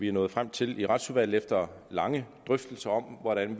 er nået frem til i retsudvalget efter lange drøftelser om hvordan